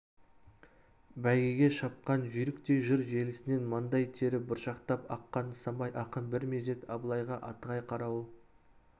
бәйгеге шапқан жүйріктей жыр желісінен маңдай тері бұршақтап аққан нысанбай ақын бір мезет абылайға атығай қарауыл